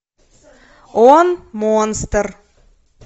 он монстр